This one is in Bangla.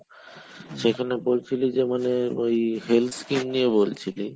যেখানে বলছিলিযে মানে ওই health skim নিয়ে বলছিলি